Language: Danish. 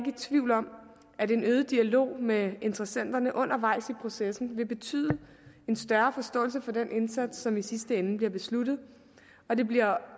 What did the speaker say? i tvivl om at en øget dialog med interessenterne undervejs i processen vil betyde en større forståelse for den indsats som i sidste ende bliver besluttet og det bliver